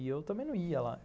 E eu também não ia lá.